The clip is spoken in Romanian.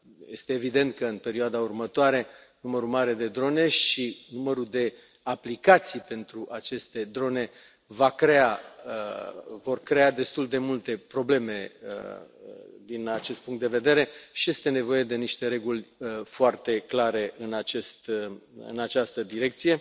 Este evident că, în perioada următoare, numărul mare de drone și numărul de aplicații pentru aceste drone vor crea destul de multe probleme din acest punct de vedere și este nevoie de niște reguli foarte clare în această direcție.